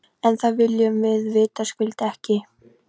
En það viljum við vitaskuld ekki.